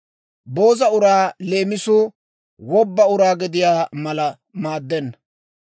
Booza uraa leemisuu wobba uraa gediyaa mala maaddenna.